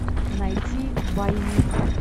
найти двойник